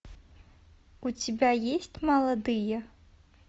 у тебя есть молодые